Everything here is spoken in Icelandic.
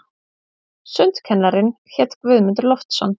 Sundkennarinn hét Guðmundur Loftsson.